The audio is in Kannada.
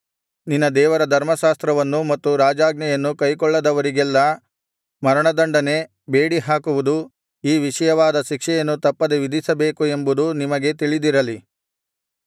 ನಿನ್ನ ದೇವರ ಧರ್ಮಶಾಸ್ತ್ರವನ್ನೂ ಮತ್ತು ರಾಜಾಜ್ಞೆಯನ್ನೂ ಕೈಕೊಳ್ಳದವರಿಗೆಲ್ಲಾ ಮರಣದಂಡನೆ ಬೇಡಿಹಾಕುವುದು ಈ ವಿಧವಾದ ಶಿಕ್ಷೆಯನ್ನು ತಪ್ಪದೆ ವಿಧಿಸಬೇಕು ಎಂಬುದು ನಿಮಗೆ ತಿಳಿದಿರಲಿ